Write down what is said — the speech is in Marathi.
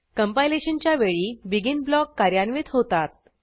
कंपायलेशनच्या वेळी बेगिन ब्लॉक कार्यान्वित होतात